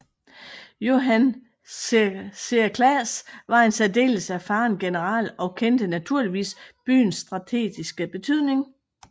Johann Tserclaes var en særdeles erfaren general og kendte naturligvis byens strategiske betydning